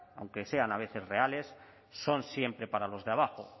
aunque sean a veces reales son siempre para los de abajo